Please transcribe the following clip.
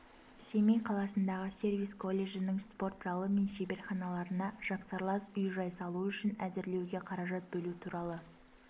семей қаласындағы сервис колледжінің спорт залы мен шеберханаларына жапсарлас үй-жай салу үшін әзірлеуге қаражат бөлу туралы